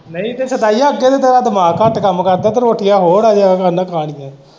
ਨਈ ਤੇ ਸੁਧਾਈਆਂ ਅੱਗੇ ਤੇ ਤੇਰਾ ਦਿਮਾਗ ਘੱਟ ਕੰਮ ਕਰਦਾ ਤੇ ਰੋਟੀਆਂ ਹੋਰ ਅਜੇ ਕਹਿੰਦਾ ਖਾਣੀਆਂ ਨੇ।